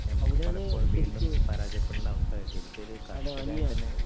നമുക്ക് പലപ്പോഴും വീണ്ടും പരാജയപ്പെടേണ്ട അവസ്ഥ ശരിക്കും ഒരു കർഷകന്